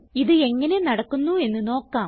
ഇത് എങ്ങനെ നടക്കുന്നു എന്ന് നോക്കാം